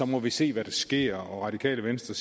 må vi se hvad der sker og radikale venstre